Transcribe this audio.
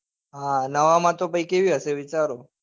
હા નવામાં તો કેવી હશે વિચારો.